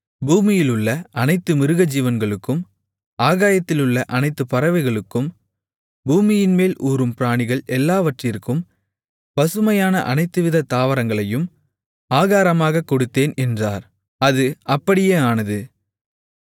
பூமியிலுள்ள அனைத்து மிருகஜீவன்களுக்கும் ஆகாயத்திலுள்ள அனைத்து பறவைகளுக்கும் பூமியின்மேல் ஊரும் பிராணிகள் எல்லாவற்றிற்கும் பசுமையான அனைத்துவிதத் தாவரங்களையும் ஆகாரமாகக் கொடுத்தேன் என்றார் அது அப்படியே ஆனது